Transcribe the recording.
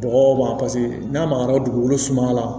Bɔgɔ ma n'a magayara dugukolo suma la